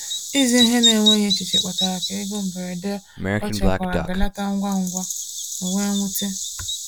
Ịzụ ihe n’enweghị echiche kpatara ka ego mberede ọ chekwara belata ngwa ngwa, o wee nwute.